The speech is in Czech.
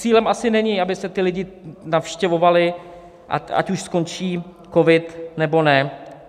Cílem asi není, aby se ti lidé navštěvovali, ať už skončí covid, nebo ne.